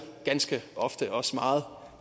ganske ofte også meget